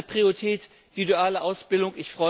Noch eine Priorität die duale Ausbildung.